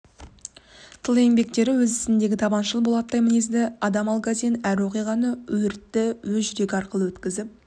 тыл еңбеккері өз ісіндегі табаншыл болаттай мінезді адам алгазин әр оқиғаны өртті өз жүрегі арқылы өткізіп